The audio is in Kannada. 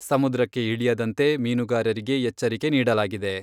ಸಮುದ್ರಕ್ಕೆ ಇಳಿಯದಂತೆ ಮೀನುಗಾರರಿಗೆ ಎಚ್ಚರಿಕೆ ನೀಡಲಾಗಿದೆ.